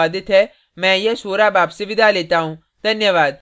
यह स्क्रिप्ट प्रभाकर द्वारा अनुवादित है मैं यश वोरा अब आपसे विदा लेता हूँ धन्यवाद